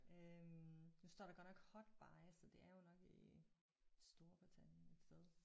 Øh nu står der godt nok hot buy så det er jo nok i Storbritannien et sted